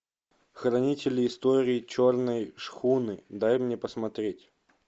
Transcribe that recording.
хранители история черной шхуны дай мне посмотреть